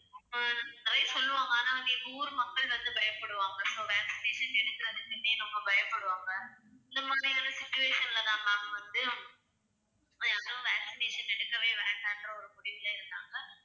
அஹ் நிறைய சொல்லுவாங்க ஆனா வந்து எங்க ஊர் மக்கள் வந்து பயப்படுவாங்க so vaccination எடுக்கறதுக்குன்னே ரொம்ப பயப்படுவாங்க. இந்த மாதிரியான situation லதான் ma'am வந்து எதுவும் vaccination எடுக்கவே வேண்டாம் என்ற ஒரு முடிவுல இருந்தாங்க.